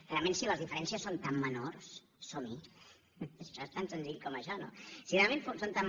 realment si les diferències són tan menors som hi això és tan senzill com això no si realment són tan